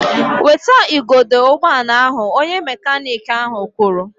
Weta igodo ụgbọala ahụ! Onye mekaniiki ahụ kwuru